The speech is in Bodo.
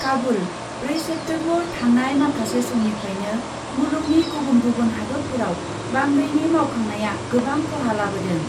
काबुल, ब्रै सेप्तेम्बर थांनाय माखासे समनिफ्रायनो मुलुगनि गुबुन गुबुन हादतफोराव बांग्रिनि मावखांनाया गोबां ख'हा लाबोदों।